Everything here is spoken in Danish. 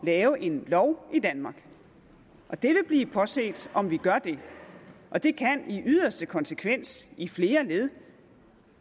lave en lov i danmark det vil blive påset om vi gør det det kan i yderste konsekvens i flere led